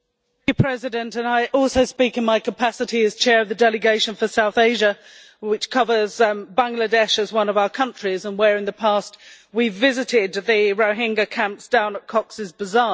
Mr President, I also speak in my capacity as Chair of the Delegation for South Asia, which covers Bangladesh as one of our countries and where in the past we visited the Rohingya camps down at Cox's Bazar.